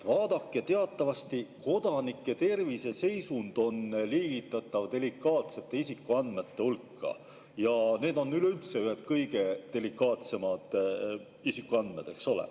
Vaadake, teatavasti on kodanike terviseseisund liigitatav delikaatsete isikuandmete hulka ja need on üleüldse ühed kõige delikaatsemad isikuandmed, eks ole.